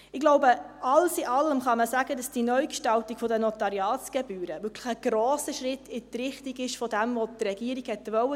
Ich glaube, alles in allem kann man sagen, dass die Neugestaltung der Notariatsgebühren wirklich ein grosser Schritt in die Richtung dessen ist, was die Regierung wollte.